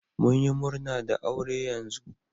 mun yi murna da aure yanzu.